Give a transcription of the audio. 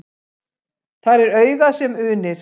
Þar er augað sem unir.